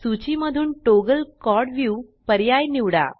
सूची मधून toggle quad view पर्याय निवडा